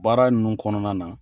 Baara nunnu kɔnɔna na